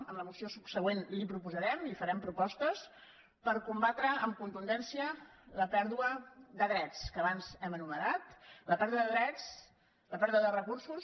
amb la moció subsegüent li farem propostes per combatre amb contundència la pèrdua de drets que abans hem enumerat la pèrdua de drets la pèrdua de recursos